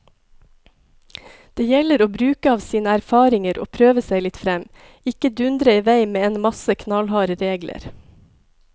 Det gjelder å bruke av sine erfaringer og prøve seg litt frem, ikke dundre i vei med en masse knallharde regler.